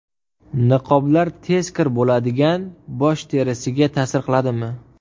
Niqoblar tez kir bo‘ladigan bosh terisiga ta’sir qiladimi?